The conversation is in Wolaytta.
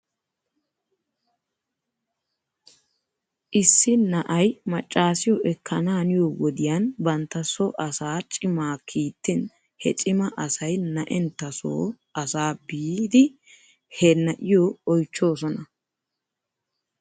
Issi na'ay macaasiyoo ekkanaaniyoo wodiyan bantta so asaa cimaa kiittin he cima asay na'enttasoo asaa biidi he na'iyoo oychchoosona .